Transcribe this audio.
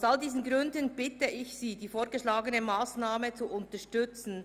Aus all diesen Gründen bitte ich Sie, die von der Regierung vorgeschlagene Massnahme zu unterstützen.